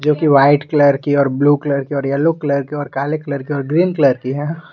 जो कि white colour की और ब्लू कलर की और येलो कलर की और काले कलर की और ग्रीन कलर की है।